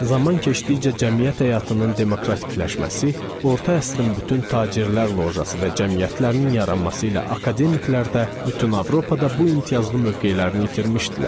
Zaman keçdikcə cəmiyyət həyatının demokratikləşməsi, orta əsrin bütün tacirlər lojası və cəmiyyətlərinin yaranması ilə akademiklər də bütün Avropada bu imtiyazlı mövqelərini itirmişdilər.